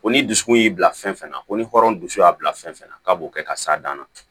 Ko ni dusukun y'i bila fɛn fɛn na ko ni hɔrɔn dusu y'a bila fɛn fɛn na k'a b'o kɛ ka s'a dan na